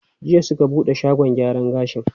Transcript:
Jiya suka buɗe shagon gyara gashin?